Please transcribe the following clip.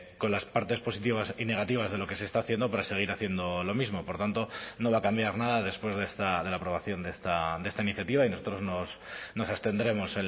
con las partes positivas y negativas de lo que se está haciendo para seguir haciendo lo mismo por tanto no va a cambiar nada después de la aprobación de esta iniciativa y nosotros nos abstendremos